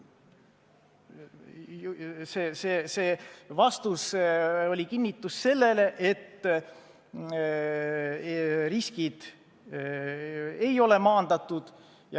See vastus oli kinnitus sellele, et riskid ei ole maandatud.